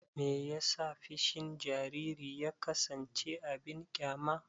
Me yasa fushin jariri ya kasance abin ƙyama?